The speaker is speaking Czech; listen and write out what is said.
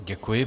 Děkuji.